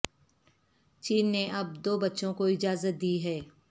چین نے اب دو بچوں کو اجازت دی ہے